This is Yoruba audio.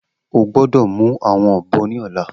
O gbọdọ mu awọn ọbọ ni ọla!